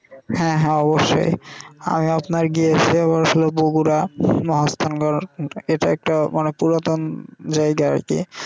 হ্যা হ্যা অবশ্যই আমি আপনার গিয়েসি হচ্ছে বগুড়া মুদিত নগর এটা একটা অনেক পুরাতন জায়গা আর কি.